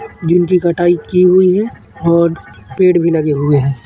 जिनकी कटाई की हुई है और पेड़ भी लगे हुए हैं।